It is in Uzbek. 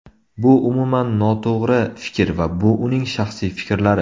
Bu umuman noto‘g‘ri fikr va bu uning shaxsiy fikrlari.